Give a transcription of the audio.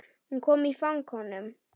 Hún kom í fang honum.